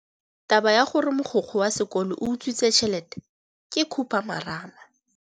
Taba ya gore mogokgo wa sekolo o utswitse tšhelete ke khupamarama.